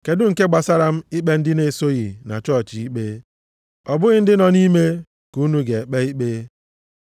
Kedụ nke gbasara m ikpe ndị na-esoghị na chọọchị ikpe? Ọ bụghị ndị nọ nʼime ka unu ga-ekpe ikpe.